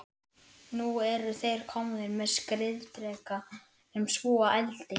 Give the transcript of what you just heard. Nú eru þeir komnir með skriðdreka sem spúa eldi!